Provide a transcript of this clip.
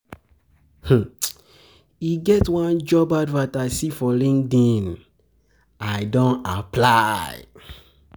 E get one job advert I see for LinkedIn, I don apply.